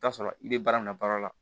I bi t'a sɔrɔ i be baara min na baara la